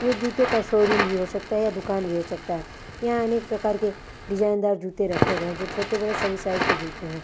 ये जुतों का शोरूम भी हो सकता है या दूकान भी हो सकता है यहाँ अनेक प्रकार के डिज़ाइनदार जूते रखे गए हैं जो छोटे-बड़े सभी साइज के जूते हैं।